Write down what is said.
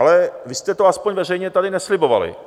Ale vy jste to aspoň veřejně tady neslibovali.